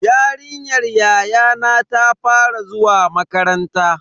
Yarinyar yayana ta fara zuwa makaranta.